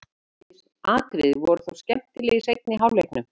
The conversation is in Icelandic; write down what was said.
Ýmis atriði voru þó skemmtileg í seinni hálfleiknum.